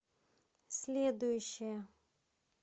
следующая